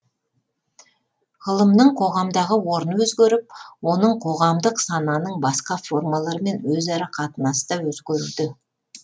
ғылымның қоғамдағы орны өзгеріп оның қоғамдық сананың басқа формаларымен өзара қатынасы да өзгеруде